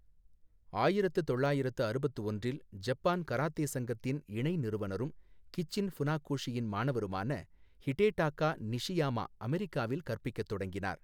ஆயிரத்து தொள்ளாயிரத்து அறுபத்து ஒன்றில் ஜப்பான் கராத்தே சங்கத்தின் இணை நிறுவனரும், கிச்சின் ஃபுனாகோஷியின் மாணவருமான ஹிடேடாக்கா நிஷியாமா அமெரிக்காவில் கற்பிக்கத் தொடங்கினார்.